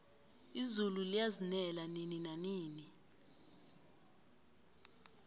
izulu liyazinela nini nanini